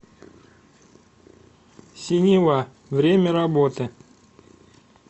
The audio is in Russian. синева время работы